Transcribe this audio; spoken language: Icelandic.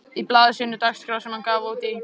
Í blaði sínu Dagskrá, sem hann gaf út í